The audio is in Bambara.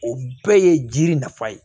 O bɛɛ ye jiri nafa ye